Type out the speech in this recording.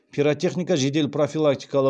пиротехника жедел профилактикалық